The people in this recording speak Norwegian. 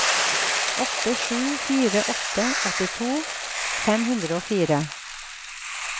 åtte sju fire åtte åttito fem hundre og fire